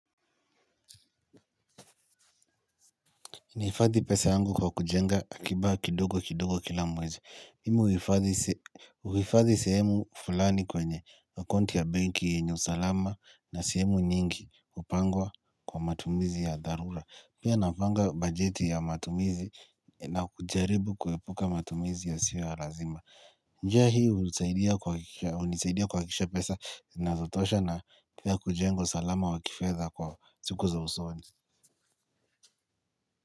Naifadhi pesa yangu kwa kujenga akiba kidogo kidogo kila mwezi. Mimi huifadhi sehemu fulani kwenye akaunti ya banki yenye usalama na sehemu nyingi kupangwa kwa matumizi ya dharura. Pia napanga bajeti ya matumizi na kujaribu kuepuka matumizi yasiyo ya lazima. Njia hii hunisaidia kuakikisha pesa zinazotosha na kujenga usalama wa kifedha kwa siku za usoni.